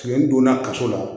donna kaso la